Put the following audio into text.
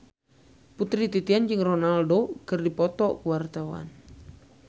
Putri Titian jeung Ronaldo keur dipoto ku wartawan